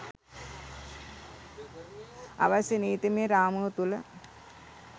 අවශ්‍ය නීතිමය රාමුව තුළ